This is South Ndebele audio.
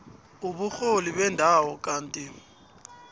uburholi bendawo kanti